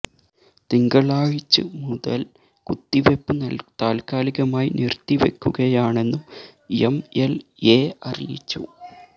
തിങ്കളാഴ്ച് മുതല് കുത്തിവെപ്പ് താല്ക്കാലികമായി നിര്ത്തിവെക്കുയാണെന്നും എം എല് എ അറിയിച്ചു